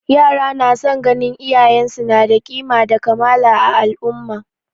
Yara na son ganin iyayen su na da kima da kamala a al'umma